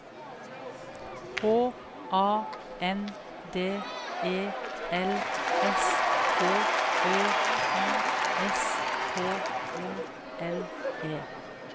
H A N D E L S H Ø Y S K O L E